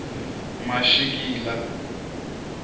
mashikila